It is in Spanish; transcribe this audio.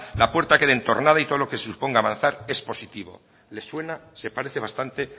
la puerta quede entornada y todo lo que suponga avanzar es positivo le suena se parece bastante